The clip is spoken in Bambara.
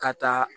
Ka taa